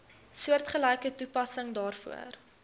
soortgelyke toepassing daarvoor